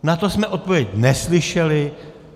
Na to jsme odpověď neslyšeli.